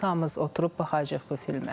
Biz hamımız oturub baxacağıq bu filmə.